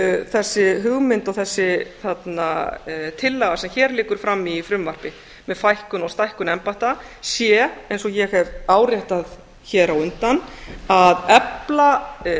þessi hugmynd og þessi tillaga sem hér liggur frammi í frumvarpi með fækkun og stækkun embætta sé eins og ég hef áréttað hér á undan að efla